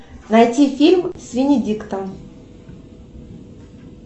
найти фильм с венедиктом